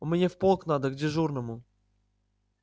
мне в полк надо к дежурному